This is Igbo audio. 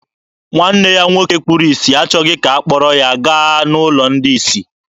Nwanne ya nwoke kpuru isi achọghị ka ha kpọrọ ya gaa n'ụlọ ndị isi.